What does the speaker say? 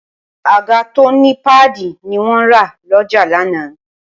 àga tó ní páàdì ni wọ́n rà lọ́jà lánàá